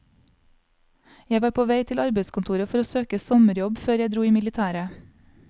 Jeg var på vei til arbeidskontoret for å søke sommerjobb før jeg dro i militæret.